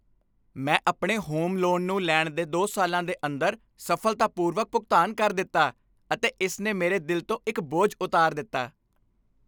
ਮੈਂ ਆਪਣੇ home loan ਨੂੰ ਲੈਣ ਦੇ 2 ਸਾਲਾਂ ਦੇ ਅੰਦਰ ਸਫ਼ਲਤਾਪੂਰਵਕ ਭੁਗਤਾਨ ਕਰ ਦਿੱਤਾ ਅਤੇ ਇਸ ਨੇ ਮੇਰੇ ਦਿਲ ਤੋਂ ਇੱਕ ਬੋਝ ਉਤਾਰ ਦਿੱਤਾ।